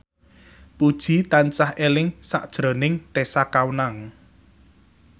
Puji tansah eling sakjroning Tessa Kaunang